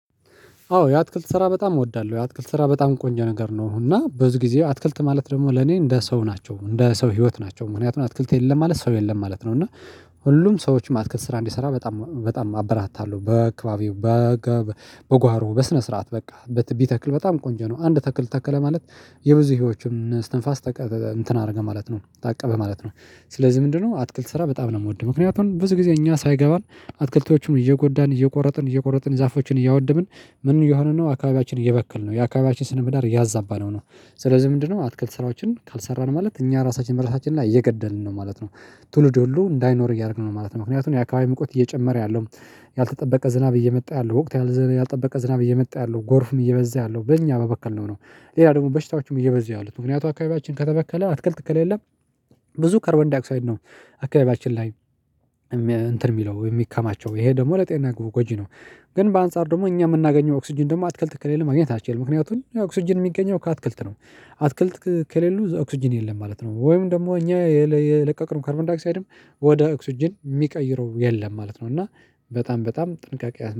አዎ የአትክልት ስራ በጣም እወዳለሁ የአትክልት ስራ በጣም ቆንጆ ነገር ነው። እና በብዙ ጊዜ አትክልት ማለት ደግሞ ለኔ እንደ ሰው ናቸው እንደ ሰው ህይወት ናቸው ምክንያቱም አትክልት የለም ማለት ሰው የለም ማለት ነው። እና ሁሉም ሰዎችም አትክል ስራ እንዲሰራ በጣም በጣም አበራታለሁ በአክባቢው በጓሮ በስነ ስርዓት በቃ በት ቢተክል ተክል በጣም ቆንጆ ነው። አንድ ተክል ተከለ ማለት የብዙ ህይወችን እስትንፋስ ተቀብ እንትን አደረገ ማለት ነው ታቀበ ማለት ነው። ስለዚህ ምንድነው አትክልት ስራ በጣም ነው የምወደው። ምክንያቱም ብዙ ጊዜ እኛ ሳይገባን አትክልቶቹም እየጎዳን እየቆረጥን እየቆረጥን ዛፎችን እያወደብን ምን እየሆንን ነው አካባቢያችን እየበክል ነው የአካባቢያችን ስነ ምዳር ያዛባነው ነው። ስለዚህ ምንድነው አትክልት ስራዎችን ካልሰራን ማለት እኛ ራሳችን በራሳችን ላይ እየገደልን ነው ማለት ነው። ትውልድ ሁሉ እንዳይኖር እያደረግን ነው ማለት ነው። ምክንያቱም የአካባቢ መቆጥ እየጨመረ ያለው ያልተጠበቀ ዝናብ እየመጣ ያለው ወቅት ያልተጠበቀ ዝናብ እየመጣ ያለው ጎርፍም እየበዛ ያለው በእኛ በበከል ነው ነው። ሌላ ደግሞ በሽታዎቹም እየበዚህ ያሉት ምክንያቱ አካባቢያችን ከተበከለ አትክልት ከለ የለም። ብዙ ከርበን ዲያክሳይድ ነው። አካባቢያችን ላይ እንትን የሚለው የሚከማቸው ይሄ ደግሞ ለጤና ጎጂ ነው። ግን በአንጻር ደግሞ እኛ የምናገኘው ኦክስጅን ደግሞ አትክልት ከሌለ ማግኘት አትችልም ምክንያቱም ኦክስጅን የሚገኘው ከአትክልት ነው። አትክልት ከሌሉ ኦክስጅን የለም ማለት ነው። ወይም ደግሞ እኛ የለቀቅን ካርቫንዳይክሳይድም ወደ ኦክስጂን የሚቀይረው የለም ማለት ነው። እና በጣም በጣም ጥንቃቄ